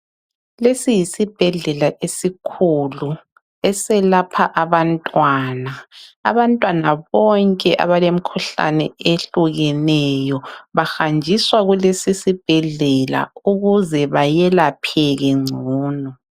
Lesi yisibhedlela esikhulu eselapha abantwana. Abantwana bonke abalemikhuhlane ehlukeneyo bahanjiswa kulesi sibhedlela ukuze bayelapheke ngcono